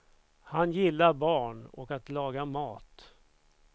Han gillar barn och att laga mat.